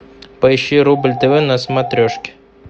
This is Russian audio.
поищи рубль тв на смотрешке